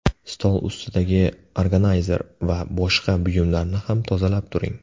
Stol ustidagi organayzer va boshqa buyumlarni ham tozalab turing.